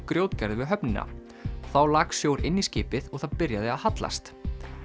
grjótgarði við höfnina þá lak sjór inn í skipið og það byrjaði að hallast